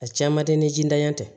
A caman tɛ ni jidan tɛ